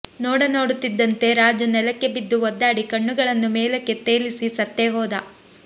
ನೋಡ ನೋಡುತ್ತಿದ್ದಂತೆ ರಾಜು ನೆಲಕ್ಕೆ ಬಿದ್ದು ಒದ್ದಾಡಿ ಕಣ್ಣುಗಳನ್ನು ಮೇಲಕ್ಕೆ ತೇಲಿಸಿ ಸತ್ತೇ ಹೋದ